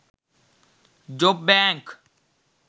job bank